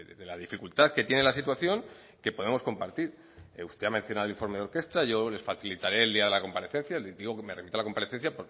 de la dificultad que tiene la situación que podamos compartir usted ha mencionado el informe de orkrestra yo les facilitaré el día de la comparecencia digo que me remito a la comparecencia